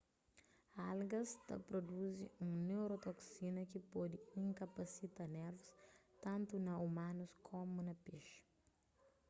algas ta pruduzi un neurotoksina ki pode inkapasita nervus tantu na umanus komu na pexi